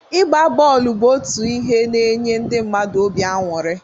Ịgba bọọlụ bụ otu ihe n'nye ndi mmadụ obi aṅụrị.